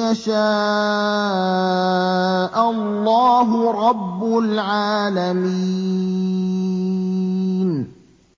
يَشَاءَ اللَّهُ رَبُّ الْعَالَمِينَ